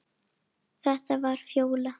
Þetta var Fjóla.